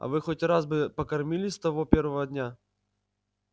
а вы хоть бы раз покормили с того первого дня